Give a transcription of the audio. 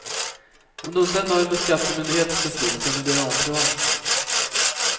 Om du inte är nöjd med skattemyndighetens beslut kan du begära omprövning.